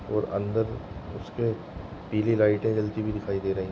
और अंदर उसके पीली लाइटे जलती हुई दिखाई दे रही है।